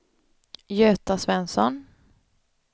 Göta Svensson